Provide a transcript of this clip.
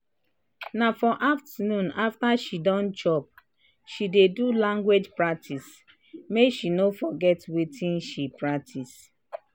na for afternoon after she don chop she dey do language practice make she no forget wetin she practice.